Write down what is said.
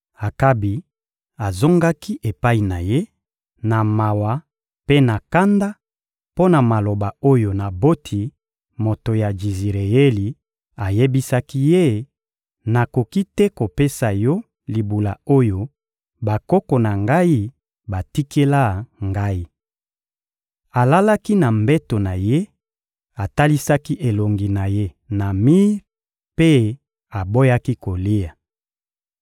Akabi azongaki epai na ye na mawa mpe na kanda mpo na maloba oyo Naboti, moto ya Jizireyeli, ayebisaki ye: «Nakoki te kopesa yo libula oyo bakoko na ngai batikela ngai.» Alalaki na mbeto na ye, atalisaki elongi na ye na mir mpe aboyaki kolia.